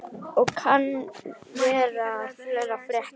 Og kann vera að fleira fréttist.